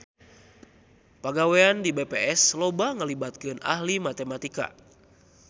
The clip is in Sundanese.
Pagawean di BPS loba ngalibatkeun ahli matematika